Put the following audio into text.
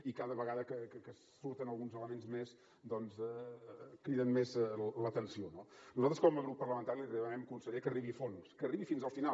i cada vegada que surten alguns elements més doncs criden més l’atenció no nosaltres com a grup parlamentari li demanem conseller que arribi a fons que arribi fins al final